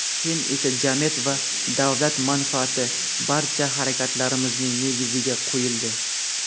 keyin esa jamiyat va davlat manfaati barcha harakatlarimizning negiziga qo‘yildi.